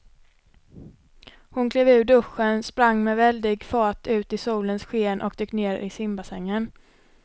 Hon klev ur duschen, sprang med väldig fart ut i solens sken och dök ner i simbassängen.